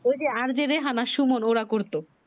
ঐ যে RJ রেহেনা সুমোন ওরা করতো